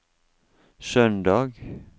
søndag